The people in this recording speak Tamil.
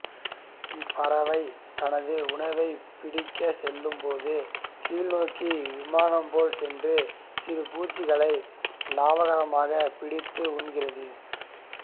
இப்பறவை தனது உணவைப் பிடிக்கச் செல்லும்போது கீழ்நோக்கி விமானம் போல் சென்று சிறு பூச்சிகளை லாகவமாகப் பிடித்து உண்ணுகிறது